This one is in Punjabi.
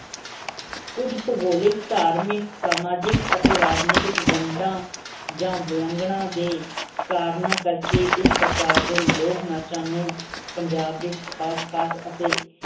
ਕੁਝ ਭੋਗੋਲਿਕ ਧਾਰਮਿਕ ਸਮਾਜਿਕ ਅਤੇ ਰਾਜਨੀਤਿਕ ਵੰਡਾਂ ਜਾਂ ਦੇ ਕਾਰਨ ਕਰਕੇ ਇਸ ਪ੍ਰਕਾਰ ਦੇ ਲੋਕ ਨਾਚਾਂ ਨੂੰ ਪੰਜਾਬ ਦੇ ਖਾਸ ਖਾਸ ਅਤੇ